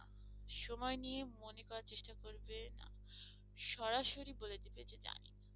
সময় নিয়ে মনে করার চেষ্টা করবে না সরাসরি বলে দিবে যে জানিনা।